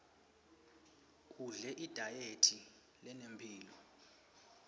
udle idayethi lenemphilo